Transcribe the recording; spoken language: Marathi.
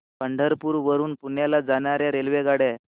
पंढरपूर वरून पुण्याला जाणार्या रेल्वेगाड्या